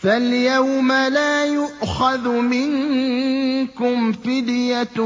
فَالْيَوْمَ لَا يُؤْخَذُ مِنكُمْ فِدْيَةٌ